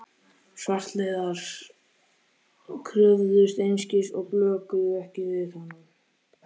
Svartliðar kröfðust einskis og blökuðu ekki við honum.